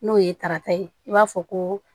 N'o ye tarata ye i b'a fɔ ko